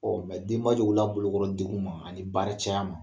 Ɔ mɛ denba jɔw ka bolo kɔrɔ degun ma ani baara caya ma.